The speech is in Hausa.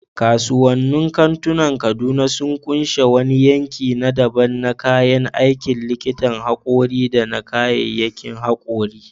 Kasuwannin kantunan Kaduna sun ƙunshi wani yanki na daban na kayan aikin likitan haƙori da na kayyayakin haƙori.